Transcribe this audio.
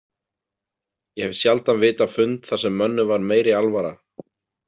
Ég hef sjaldan vitað fund þar sem mönnum var meiri alvara.